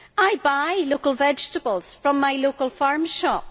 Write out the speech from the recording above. I buy local vegetables from my local farm shop.